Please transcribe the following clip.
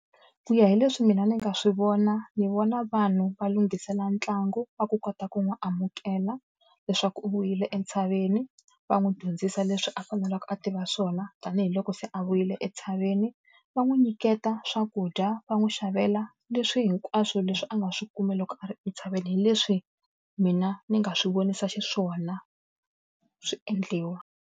Ku ya hi leswi mina ni nga swi vona, ni vona vanhu va lunghisela ntlangu va ku kota ku n'wi amukela leswaku u vuyile entshaveni. Va n'wi dyondzisa leswi a fanelake a tiva swona tanihiloko se a vuyile entshaveni. Va n'wi nyiketa swakudya, va n'wi xavela leswi hinkwaswo leswi a nga swi kumi loko a ri entshaveni. Hi leswi mina ni nga swi vonisa xiswona swi endliwa.